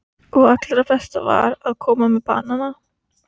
Og allra best var að koma með banana.